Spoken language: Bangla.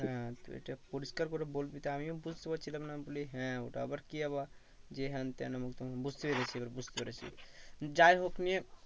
হ্যাঁ তো এটা পরিষ্কার করে বলবি তো আমিও বুঝতে পারছিলাম না। আমি বলি হ্যাঁ ওটা আবার কি আবার? যে হ্যান ত্যান উমুক মুতুক, বুঝতে পেরেছি এবার বুঝতে পেরেছি। যাই হোক নিয়ে